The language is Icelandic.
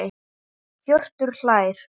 Hjörtur hlær.